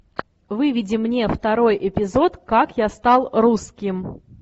выведи мне второй эпизод как я стал русским